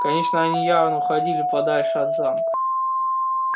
конечно они явно уходили подальше от замка